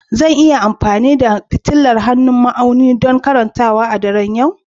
Zan iya amfani da fitilar hannun ma'auni don karantawa a daren yau?